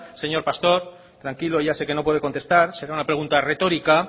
señor pastor tranquilo ya sé que no puede contestar será una pregunta retórica